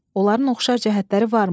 Onların oxşar cəhətləri varmı?